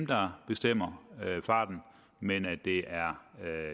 der bestemmer farten men at det er